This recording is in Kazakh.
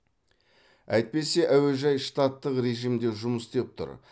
әйтпесе әуежай штаттық режімде жұмыс істеп тұр